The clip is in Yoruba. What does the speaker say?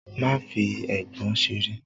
Má fi “eégbọn” seré.!